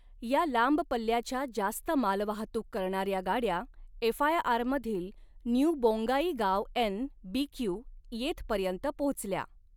या लांब पल्ल्याच्या जास्त मालवाहतूक करणाऱ्या गाड्या एफआयआरमधील New Bongaigaon N B Q येथपर्यंत पोचल्या.